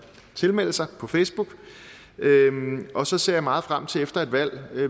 tilmelde sig på facebook og så ser jeg meget frem til efter et valg